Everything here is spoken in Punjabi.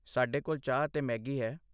ਸਾਡੇ ਕੋਲ ਚਾਹ ਅਤੇ ਮੈਗੀ ਹੈ।